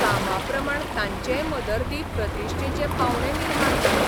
कामां प्रमाण तांचेय मदर्दी प्रतिश्ठेचे पावंडे निर्माण जाले.